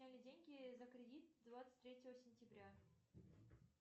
сняли деньги за кредит двадцать третьего сентября